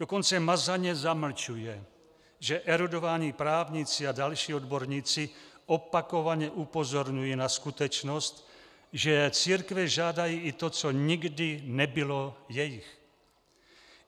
Dokonce mazaně zamlčuje, že erudovaní právníci a další odborníci opakovaně upozorňují na skutečnost, že církve žádají i to, co nikdy nebylo jejich.